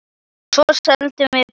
Svo seldum við bókina líka.